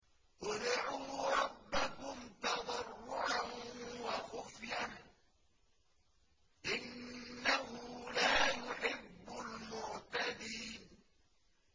ادْعُوا رَبَّكُمْ تَضَرُّعًا وَخُفْيَةً ۚ إِنَّهُ لَا يُحِبُّ الْمُعْتَدِينَ